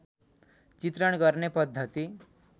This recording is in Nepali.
चित्रण गर्ने पद्धति